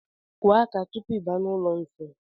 Kụọ aka tupu I baa n'ụlọ nsi.